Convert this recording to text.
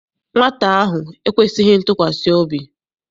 Nwata ahụ ekwesịghị ntụkwasị obi.